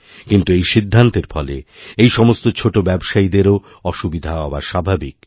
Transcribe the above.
কিন্তু এই সিদ্ধান্তের ফলে এই সমস্ত ছোটোব্যবসায়ীদেরও অসুবিধা হওয়া স্বাভাবিক